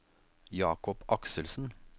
Jakob Akselsen